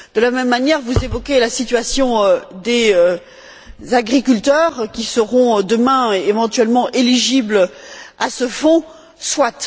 De la même manière, vous évoquez la situation des agriculteurs qui seront demain éventuellement éligibles à ce Fonds, soit.